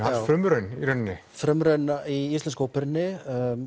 frumraun í rauninni frumraun í íslensku óperunni